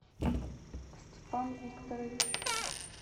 степан викторович